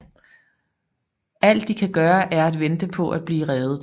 Alt de kan gøre er at vente på at blive reddet